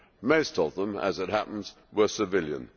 Most of them, as it happens, were civilian.